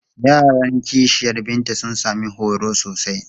Yaran ƙishiyar Binta sun sami horo sosai.